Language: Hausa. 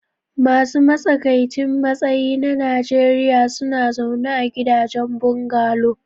Masu matsakaicin matsayi na Najeriya suna zaune a gidajen bungalow.